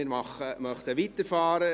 Wir wollen weiterfahren.